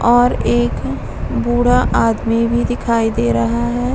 और एक बूढ़ा आदमी भी दिखाई दे रहा है।